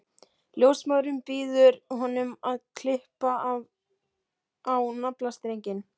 Ljósmóðirin býður honum að klippa á naflastrenginn.